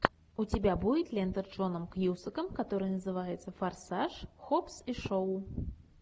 у тебя будет лента с джоном кьюсаком которая называется форсаж хоббс и шоу